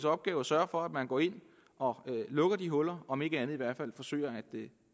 opgave at sørge for at man går ind og lukker det hul om ikke andet i hvert fald forsøger at